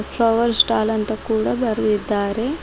Flower stall ಅಂತ ಕೂಡ ಬರೆದಿದ್ದಾರೆ.